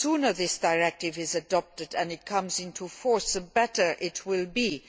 The sooner this directive is adopted and comes into force, the better it will be.